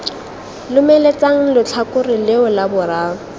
lomeletsang letlhakore leo la boraro